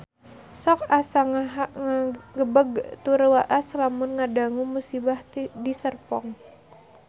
Sok asa ngagebeg tur waas lamun ngadangu musibah di Serpong